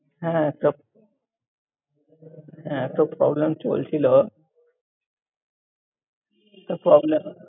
হ্যাঁ, একটা। এ~ এতো problem চলছিল এতো problem